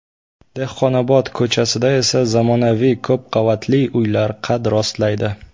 Dehqonobod ko‘chasida esa zamonaviy ko‘pqavatli uylar qad rostlaydi.